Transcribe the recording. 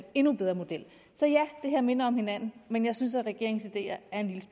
endnu bedre model så ja det her minder om hinanden men jeg synes at regeringens ideer